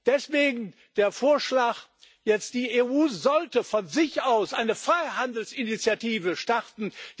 Deswegen jetzt der Vorschlag Die EU sollte von sich aus eine Freihandelsinitiative starten.